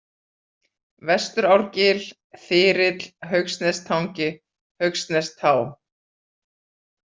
Vestuárgil, Þyrill, Haugsnestangi, Haugsnestá